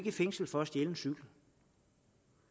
i fængsel for at stjæle en cykel